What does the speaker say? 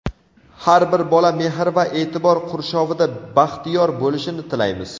Har bir bola mehr va e’tibor qurshovida baxtiyor bo‘lishini tilaymiz!.